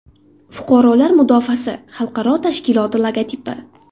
Fuqarolar mudofaasi xalqaro tashkiloti logotipi.